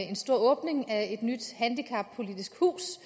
en stor åbning af et nyt handicappolitisk hus